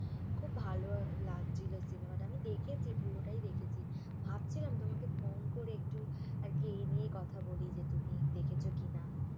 খুব ভালো লাগছিল সিনেমাটা আমি দেখেছি পুরোটাই দেখেছি ভাবছিলাম তোমাকে phone করে একটু আরকি এইনিয়ে কথা বলি যে তুমি দেখেছ কিনা।